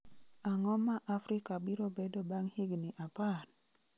Ang�o ma Afrika biro bedo bang� higni apar?